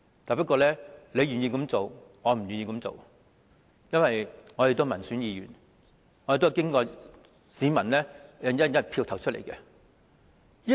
即使有人願意這樣做，我也不願意這樣做，因為我是民選議員，是經市民"一人一票"投選出來的。